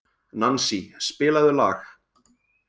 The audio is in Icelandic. Nansý, spilaðu lag.